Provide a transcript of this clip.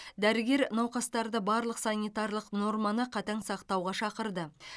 дәрігер науқастарды барлық санитарлық норманы қатаң сақтауға шақырды